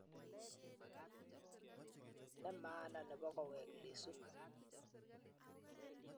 Ne maana nebo koweek Lissu